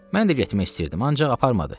Mən də getmək istəyirdim, ancaq aparmadı.